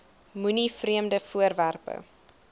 moenie vreemde voorwerpe